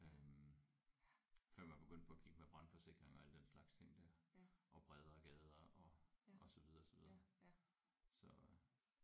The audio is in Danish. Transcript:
Øh før man begyndte på at kigge med brandforsikring og alt den slags ting der og bredere gader og og så videre så videre så